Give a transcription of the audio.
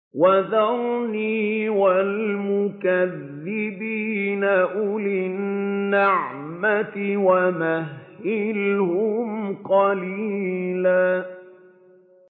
وَذَرْنِي وَالْمُكَذِّبِينَ أُولِي النَّعْمَةِ وَمَهِّلْهُمْ قَلِيلًا